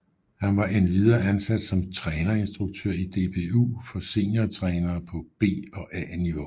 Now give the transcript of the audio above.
Han var endvidere ansat som trænerinstruktør i DBU for seniortrænere på B og A niveau